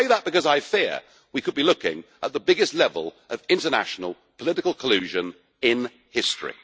I say that because I fear we could be looking at the biggest level of international political collusion in history.